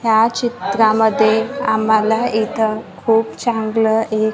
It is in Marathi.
या चित्रांमध्ये आम्हाला इथं खूप चांगलं एक--